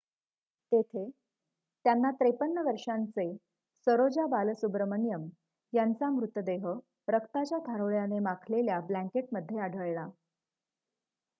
तेथे त्यांना 53 वर्षांचे सरोजा बालसुब्रमण्यम यांचा मृतदेह रक्ताच्या थारोळ्याने माखलेल्या ब्लॅंकेटमध्ये आढळला